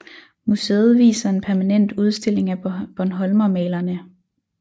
Museet viser en permanent udstilling af bornholmermalerne